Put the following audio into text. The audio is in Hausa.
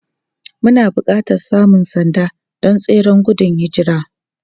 Muna buƙatar samun sanda don tseren gudun hijira.